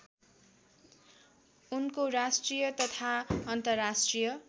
उनको राष्ट्रिय तथा अन्तर्राष्ट्रिय